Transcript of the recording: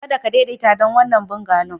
Kada ka daidaita don wannan bungalow.